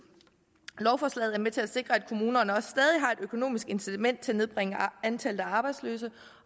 lovforslaget er med til at sikre at kommunerne stadig har et økonomisk incitament til at nedbringe antallet af arbejdsløse